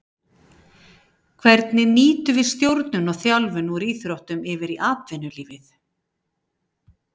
Hvernig nýtum við stjórnun og þjálfun úr íþróttum yfir í atvinnulífið.